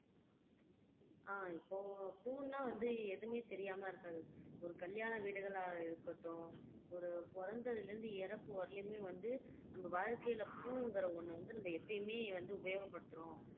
அஹ் இப்போ பூவுன்னா வந்து எதுவுமே தெரியாம இருக்காது ஒரு கல்யாண வீடுகளா இருக்கட்டும் ஒரு பொறந்ததுல இருந்து இறப்பு வரையுலுமே வந்து நம்ம வாழ்க்கையில பூவுங்கற ஒண்ணு வந்து நம்ம எப்பையுமே வந்து உபயோகப்படுத்துறோம்